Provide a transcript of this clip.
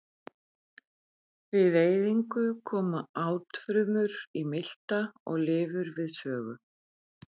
Við eyðingu koma átfrumur í milta og lifur við sögu.